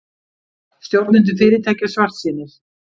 Stjórnendur fyrirtækja svartsýnir